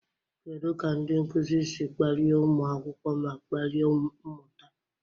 Kedu ka ndị nkuzi si kpalie ụmụ akwụkwọ ma kpalie mmụta?